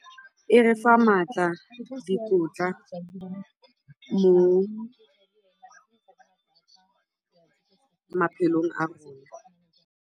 E re fa maatla, dikotla mo maphelong a rona.